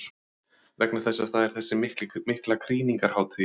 Vegna þess að það er þessi mikla krýningarhátíð í dag.